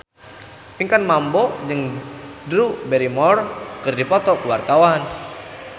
Pinkan Mambo jeung Drew Barrymore keur dipoto ku wartawan